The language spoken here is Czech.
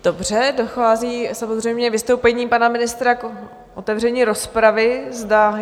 Dobře, dochází samozřejmě vystoupením pana ministra k otevření rozpravy.